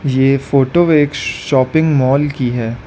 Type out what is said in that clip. ये फोटो एक श शॉपिंग मॉल की है।